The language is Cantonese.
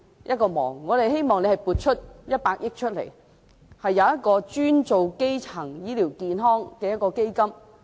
我們希望政府撥出100億元，設立專門用於基層醫療健康的基金。